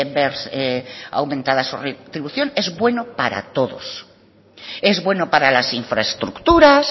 ver aumentada su retribución es bueno para todos es bueno para las infraestructuras